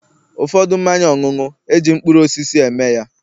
ụfọdụ mmanya ọṅụṅụ, e ji mkpụrụ osisi eme ya